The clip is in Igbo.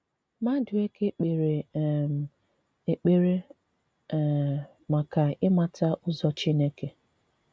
Madueke k̀pèrè um èkpèrè um maka ị̀màtà̀ ụzọ̀ Chineke.